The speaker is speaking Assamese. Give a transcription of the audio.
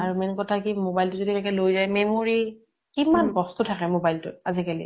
আৰু main কথা কি mobile টো যদি কেনেবাকে লৈ যায় memory কিমান বস্তু থাকে mobile টোত আজি কালি